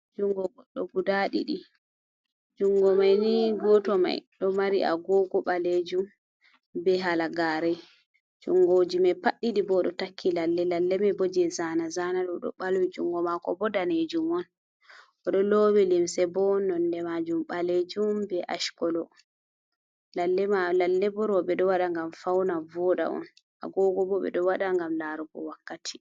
Jungo gɗɗo guda diɗi, jungomai ni gotoh mai do mari agogo balejum be halagareh jungoji mai pad didi bo do takki lalle lallema boje zana zana lo do balwi jungo mako bo danejum on. o ɗo lowi limse bo nonde majum balejum be askolo lalle ɓo rouɓe do wada ngam fauna voda on agogo bo beɗo wada ngam laru bo wakkati.